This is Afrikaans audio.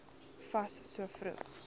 fas so vroeg